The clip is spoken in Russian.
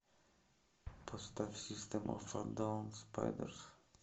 поставь систэм оф э даун спайдэрс